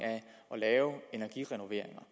lave energirenoveringer